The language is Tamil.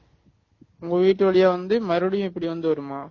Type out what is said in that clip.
உங்க வீட்டு வழியா வந்து மறுபடியும் இப்படி வந்து வருமா